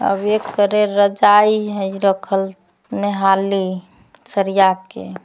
अब एक करे रजाई हई रखल नेहाली सरिया के --